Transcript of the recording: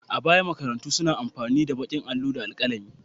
A baya, makarantu suna amfani da baƙin allo da alƙalami.